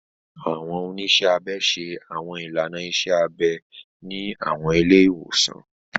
Àwọn oniṣẹ abẹ ṣe Àwọn ilàná iṣẹ abẹ ni àwọn ile iwosan.